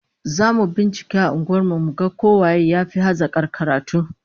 Zamu bincika a unguwar mu ko waye yafi hazakar karatu